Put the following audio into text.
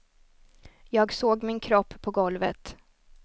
Jag såg min kropp på golvet.